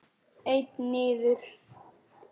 Einn niður.